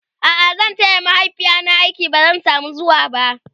a'a zan taya mahaifiyata aiki ba zan samu zuwaba